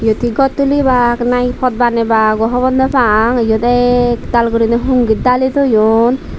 yot he gor tulibak na he pot banebak o hobor nw pang yot ek tal guri hungit dali toyon.